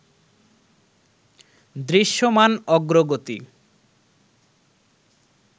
দৃশ্যমান অগ্রগতি